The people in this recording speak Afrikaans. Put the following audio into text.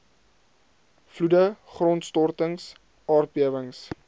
vloede grondstortings aardbewings